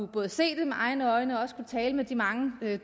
både at se det med egne øjne og tale med de mange